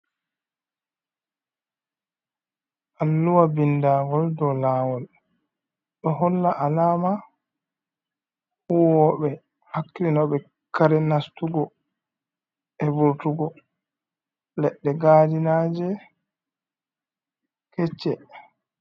Alluwa ɓindagol ɗow lawol. Ɗo holla alama huwoɓe hakli no ɓe kare nastugo be vortugo leɗɗe gadinaje kecce.